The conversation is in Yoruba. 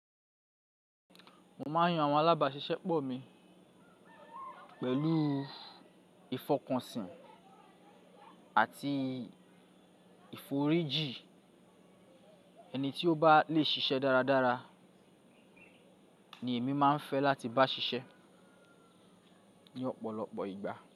Mo máà ń yan àwọn alábàáṣiṣẹ́ pọ̀ mi pẹ̀lú ìfọkànsìn àti ìforíji. Ẹni tí ó bá le ṣiṣẹ́ dáradára ni èmi máa ń fẹ́ láti bá ṣiṣẹ́ ní ọ̀pọ̀lọpọ̀ ìgbà.